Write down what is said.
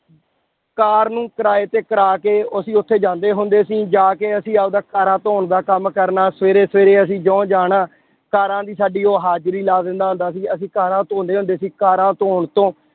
ਕਾਰ ਨੂੰ ਕਿਰਾਏ ਤੇ ਕਰਾ ਕੇ ਅਸੀਂ ਉੱਥੇ ਜਾਂਦੇ ਹੁੰਦੇ ਸੀ, ਜਾ ਕੇ ਅਸੀਂ ਆਪਦਾ ਕਾਰਾਂ ਧੌਣ ਦਾ ਕੰਮ ਕਰਨਾ, ਸਵੇਰੇ ਸਵੇਰੇ ਅਸੀਂ ਜਿਉਂ ਜਾਣਾ ਕਾਰਾਂ ਦੀ ਸਾਡੀ ਉਹ ਹਾਜ਼ਰੀ ਲਾ ਦਿੰਦਾ ਹੁੰਦਾ ਸੀ ਅਸੀਂ ਕਾਰਾਂ ਧੋਂਦੇ ਹੁੰਦੇ ਸੀ ਕਾਰਾਂ ਧੌਣ ਤੋਂ